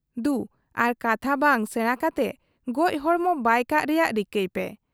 ᱫᱩ ᱟᱨ ᱠᱟᱛᱷᱟ ᱵᱟᱝ ᱥᱮᱬᱟ ᱠᱟᱛᱮ ᱜᱚᱡ ᱦᱚᱲᱢᱚ ᱵᱟᱭ ᱠᱟᱜ ᱨᱮᱭᱟᱜ ᱨᱤᱠᱟᱹᱭᱯᱮ ᱾